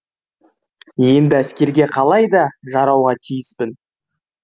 енді әскерге қалай да жарауға тиіспін